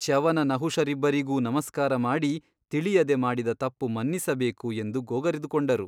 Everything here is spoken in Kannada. ಚ್ಯವನನಹುಷರಿಬ್ಬರಿಗೂ ನಮಸ್ಕಾರ ಮಾಡಿ ತಿಳಿಯದೆ ಮಾಡಿದ ತಪ್ಪು ಮನ್ನಿಸಬೇಕು ಎಂದು ಗೋಗರೆದುಕೊಂಡರು.